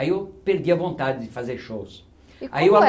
Aí eu perdi a vontade de fazer shows. E como é... Aí eu